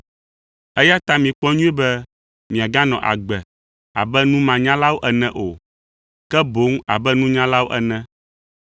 Eya ta mikpɔ nyuie be miaganɔ agbe abe numanyalawo ene o, ke boŋ abe nunyalawo ene,